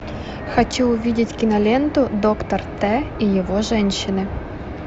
хочу увидеть киноленту доктор т и его женщины